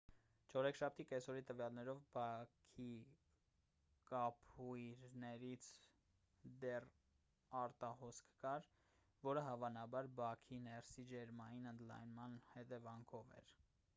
չորեքշաբթի կեսօրի տվյալներով բաքի կափույրներից դեռ արտահոսք կար որը հավանաբար բաքի ներսի ջերմային ընդլայնման հետևանքով էր